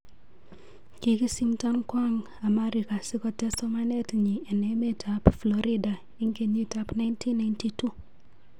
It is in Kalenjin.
Kikisimton kwang amarika si kotes somanet nyi en emet ap florida en keytik ap 1992.